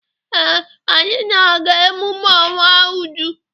Ee, anyị na-aga emume ọnwụ Uju.